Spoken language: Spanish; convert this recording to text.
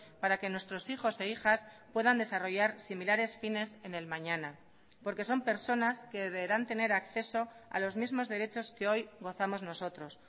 para que nuestros hijos e hijas puedan desarrollar similares fines en el mañana porque son personas que deberán tener acceso a los mismos derechos que hoy gozamos nosotros